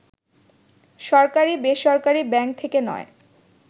সরকারি-বেসরকারি bank থেকে নয়